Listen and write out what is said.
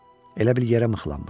Elə bil yerə mıxlanmışdım.